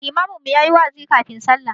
Limamin mu ya yi wa'azi kafin sallah.